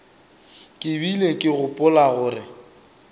ke bile ke gopola gore